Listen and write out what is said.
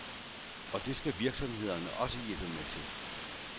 Og det skal virksomhederne også hjælpe med til.